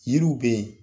Yiriw bɛ yen